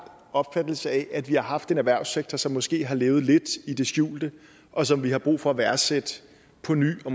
opfattelse af at vi har haft en erhvervssektor som måske har levet lidt i det skjulte og som vi har brug for at værdsætte på ny og